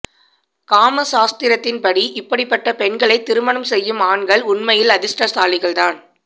காமசாஸ்திரத்தின் படி இப்படிப்பட்ட பெண்களை திருமணம் செய்யும் ஆண்கள் உண்மையில் அதிர்ஷ்டசாலிகள் தான்